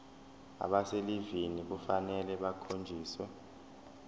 abaselivini kufanele bakhonjiswe